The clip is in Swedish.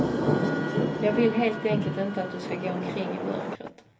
Jag vill helt enkelt inte att du ska gå omkring i mörkret.